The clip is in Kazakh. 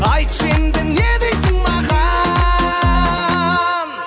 айтшы енді не дейсін маған